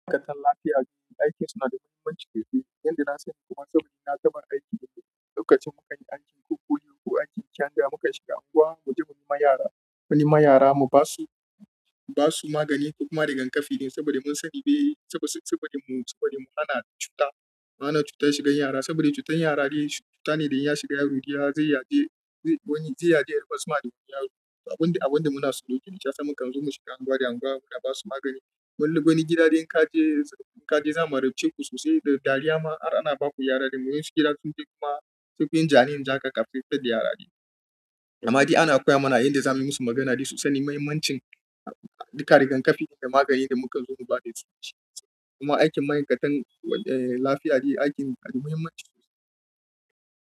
Ma'aikatan lafiya duk aikin su na da muhimmanci kaifi. Inda na sani kuma saboda na kabar aiki a lokacin muke anjin kurkuyoyi ko anjin kyanda muka shiga unguwa mu je muyi ma yara. Wani ma yara mu basu, basu magani kuma da rigakafi saboda mun sani ba yi, saboda, saboda mu, saboda mu ana cuta, ana cutar shigan yara. Saboda cutar yara dai cuta ne da in ya shiga yaro dai ya zai yade, wani zai yade har kuma ya suma da wani yaro. Abun, abun da muna so dokin ya sa mukan zo mu shiga unguwa da unguwa muna basu magani. Wani, wani gida idan ka je, ka je za mu raice ku sosai da dariya ma ana ba ku yara da mun yi shiga duk dai kuma duk wajen janin jaka kafin ta fitar da yara ɗin. Amadi ana koya mana yadda zamuyi musu maganadi sosai na muhimmancin duka rigakafi da maganin da mukan zo mu ba da su. Kuma aikin ma'aikatan eh lafiya dai aikin dai muhimmanci sosai.